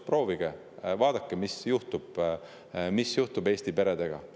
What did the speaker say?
Proovige ja vaadake, mis juhtuks siis Eesti peredega.